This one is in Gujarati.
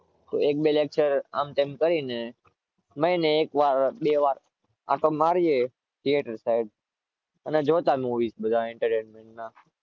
એક બે lecture આમતેમ કરીને એક વાર બે વાર આતો મરીયે theater side જોતા movies entertainment ના